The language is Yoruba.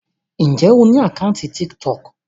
Ǹjẹ́ o ní àkáńtì Tiktok?